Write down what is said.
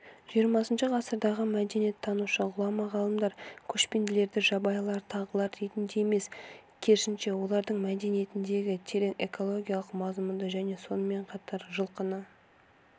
жиырмасыншы ғасырдағы мәдениеттанушы ғұлама ғалымдар көшпенділерді жабайылар тағылар ретінде емес керісінше олардың мәдениетіндегі терең экологиялық мазмұнды және сонымен қатар жылқыны